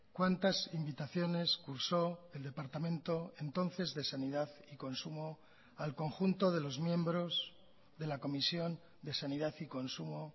cuántas invitaciones cursó el departamento entonces de sanidad y consumo al conjunto de los miembros de la comisión de sanidad y consumo